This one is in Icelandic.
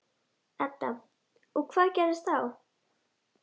Edda: Og hvað gerist þá?